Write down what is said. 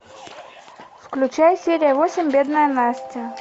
включай серия восемь бедная настя